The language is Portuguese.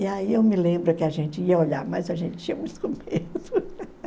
E aí eu me lembro que a gente ia olhar, mas a gente tinha muito medo.